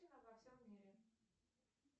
во всем мире